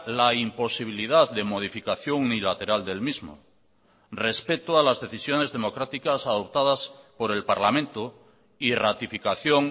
la imposibilidad de modificación unilateral del mismo respeto a las decisiones democráticas adoptadas por el parlamento y ratificación